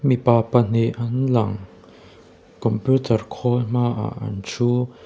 mipa pahnih an lang computer khawl hma ah an thu.